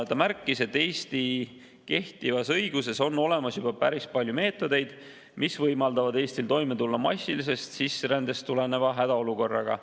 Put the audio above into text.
Ta märkis, et Eesti kehtivas õiguses on olemas juba päris palju meetodeid, mis võimaldavad Eestil toime tulla massilisest sisserändest tuleneva hädaolukorraga.